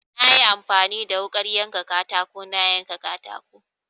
Na yi amfani da wuƙar yanka katako na yanka katako.